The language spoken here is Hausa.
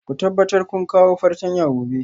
Ku tabbatar kun kawo fartanya gobe